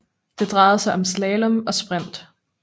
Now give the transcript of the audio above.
Det drejede sig om slalom og sprint